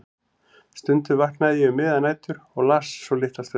Stundum vaknaði ég um miðjar nætur og las svo litla stund.